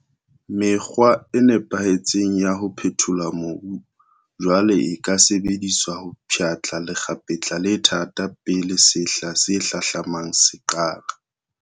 Mekgwa e nepahetseng ya ho phethola mobu jwale e ka sebediswa ho pshatla lekgapetla le thata pele sehla se hlahlamang se qala.